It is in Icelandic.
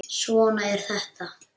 Svona er þetta.